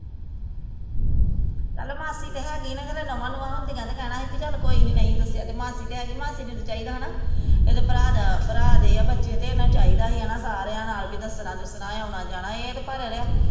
ਚੱਲ ਮਾਸੀ ਤਾਂ ਹੈਗੀ ਸੀ ਨਾ ਤੇ ਚੱਲ ਨੁਹਾ ਨੁਹਾ ਹੁੰਦੀਆ ਤੇ ਕਹਿਣਾ ਸੀ ਵੀ ਚੱਲ ਕੋਈ ਨਾ ਨਹੀਂ ਦੱਸਿਆ ਤੇ ਤੇ ਮਾਸੀ ਤੇ ਹੈਗੀ ਤੇ ਮਾਸੀ ਨੂੰ ਤਾਂ ਚਾਹੀਦਾ ਹੈਨਾ ਇਹਦੇ ਭਰਾ ਦਾ ਭਰਾ ਦੇ ਆ ਬੱਚੇ ਤੇ ਇਹਨਾਂ ਨੂੰ ਚਾਹੀਦਾ ਸੀ ਹੈਨਾ ਵੀ ਸਾਰਿਆ ਨਾਲ਼ ਦੱਸਣਾ ਦੱਸਣਾ ਵੀ ਆਉਣਾ ਜਾਣਾ ਐ ਇਹ ਤੇ ਭਾਰਾ ਰਿਹਾ